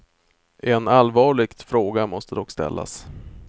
En allvarligt fråga måste dock ställas.